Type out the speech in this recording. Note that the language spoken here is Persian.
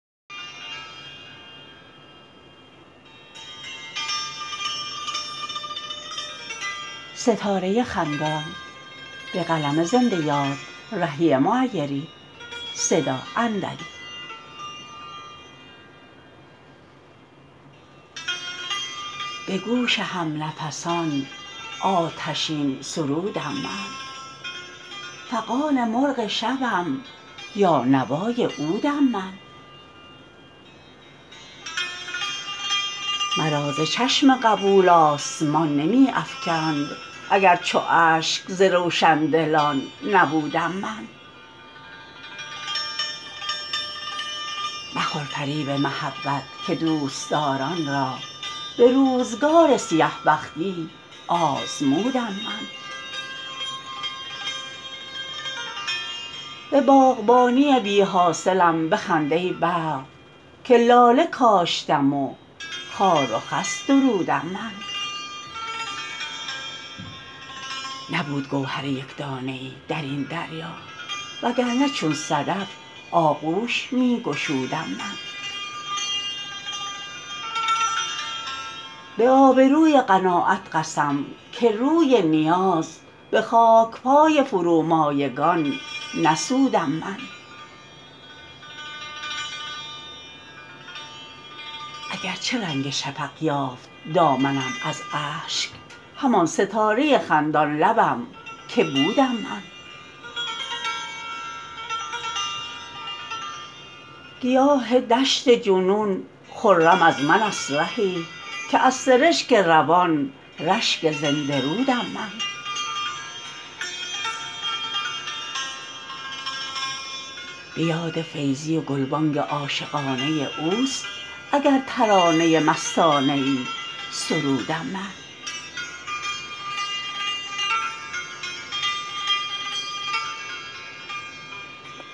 به گوش هم نفسان آتشین سرودم من فغان مرغ شبم یا نوای عودم من مرا ز چشم قبول آسمان نمی افکند اگر چو اشک ز روشندلان نبودم من مخور فریب محبت که دوستداران را به روزگار سیه بختی آزمودم من به باغبانی بی حاصلم بخند ای برق که لاله کاشتم و خار و خس درودم من نبود گوهر یک دانه ای در این دریا وگرنه چون صدف آغوش می گشودم من به آبروی قناعت قسم که روی نیاز به خاکپای فرومایگان نسودم من اگرچه رنگ شفق یافت دامنم از اشک همان ستاره خندان لبم که بودم من گیاه دشت جنون خرم از من است رهی که از سرشک روان رشک زنده رودم من به یاد فیضی و گلبانگ عاشقانه اوست اگر ترانه مستانه ای سرودم من